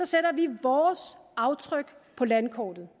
sætter vi vores aftryk på landkortet